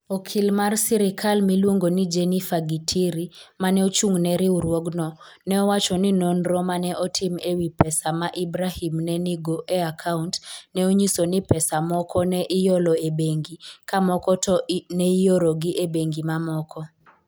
Okil mar sirkal miluongo ni Jennifer Gitiri ma ne ochung' ne riwruogno, ne owacho ni nonro ma ne otim e wi pesa ma Ibrahim ne nigo e akaunt, ne onyiso ni pesa moko ne iolo e bengi ka moko to ne iorogi e bengi mamoko.